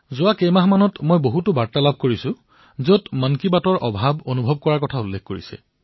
যোৱা মাহৰ পৰা বহু বাৰ্তা পাইছো যত কোৱা হৈছে যে জনতাই মন কী বাতৰ অনুপস্থিতি অনুভৱ কৰিছে